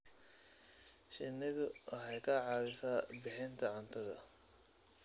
Shinnidu waxay ka caawisaa bixinta cuntada.